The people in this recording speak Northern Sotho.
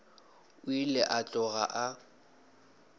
o ile a tloga a